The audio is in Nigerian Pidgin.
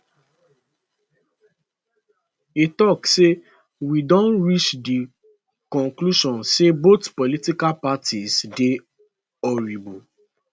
e tok say we don reach di conclusion say both political parties dey horrible